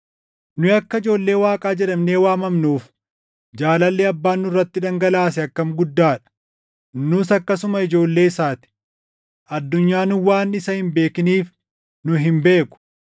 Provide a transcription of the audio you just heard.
Nu akka ijoollee Waaqaa jedhamnee waamamnuuf jaalalli Abbaan nurratti dhangalaase akkam guddaa dha! Nus akkasuma ijoollee isaa ti! Addunyaan waan isa hin beekiniif nu hin beeku.